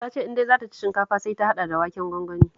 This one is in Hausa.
Ta ce in dai za ta ci shinkafa sai ta hada da waken gwangwani